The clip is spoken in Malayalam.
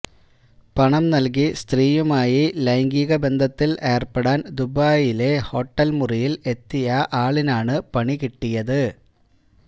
പണം നല്കി സ്ത്രീയുമായി ലൈംഗികബന്ധത്തില് ഏര്പ്പെടാന് ദുബായിലെ ഹോട്ടല് മുറിയില് എത്തിയ ആളിനാണ് പണി കിട്ടിയത്